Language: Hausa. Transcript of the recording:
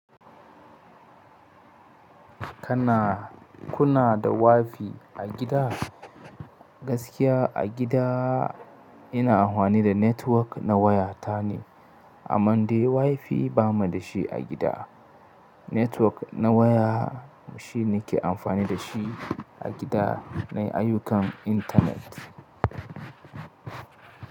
Kana, kuna da WiFi a gida? Gaskiya a gida ina amfani da network na waya ta ne, aman dai WiFi ba mu da shi a gida. Network na waya shi ne ke amfani da shi a gida nai ayyukan internet.